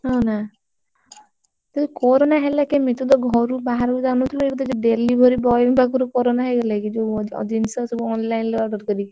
ହଁ ନା? ତତେ corona ହେଲା କେମିତି? ତୁତ ଘରୁ ବାହାରକୁ ଜାଇନଥୁଲୁ delivery boy ଙ୍କ ପାଖରୁ corona ହେଇଗଲା କି? ଯୋଉ ଜିନିଷ ସବୁ online order କରିକି।